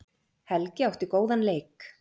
Helgi átti góðan leik